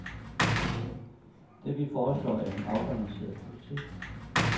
Det, vi foreslår, er en afbalanceret politik.